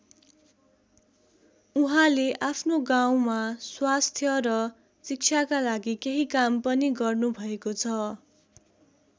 उहाँले आफ्नो गाउँमा स्वास्थ्य र शिक्षाका लागि केही काम पनि गर्नुभएको छ।